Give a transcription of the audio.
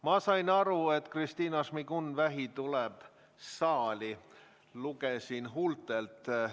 Ma sain aru, et Kristina Šmigun-Vähi tuleb saali – lugesin huultelt.